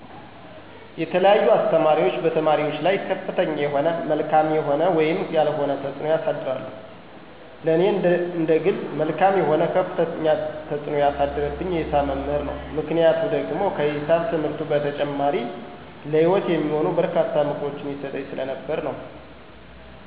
የተለያዩ አስተማሪዎች በተማሪዎች ላይ ከፍተኛ የሆነ መልካም የሆነ ወይም ያልሆነ ተፅዕኖ ያሳድራሉ። ለኔ እንደግል መልካም የሆነ ከፍተኛ ተፅዕኖ ያረገብኝ የሂሳብ መምህር ነው፤ ምክንያቱ ደግሞ ከሂሳብ ትምህርቱ በተጨማሪ ለሂወት የሚሆኑ በርካታ ምክሮችን ይሰጠኝ ስለነበር ነው።